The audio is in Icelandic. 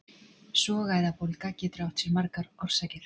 sogæðabólga getur átt sér margar orsakir